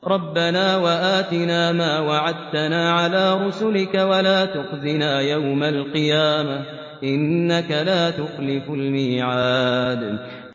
رَبَّنَا وَآتِنَا مَا وَعَدتَّنَا عَلَىٰ رُسُلِكَ وَلَا تُخْزِنَا يَوْمَ الْقِيَامَةِ ۗ إِنَّكَ لَا تُخْلِفُ الْمِيعَادَ